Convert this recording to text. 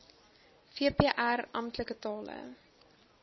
vpr amptelike tale